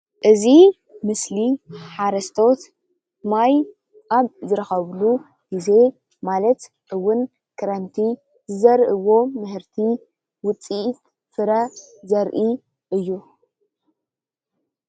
እዚ ምስሊ ሓረስቶት ማይ ኣብ ዝረኽብሉ ግዜ ማለት ውን ክረምቲ ዝዘርእዎ ምህርቲ ውፅኢት ፍረ ዘርኢ እዩ።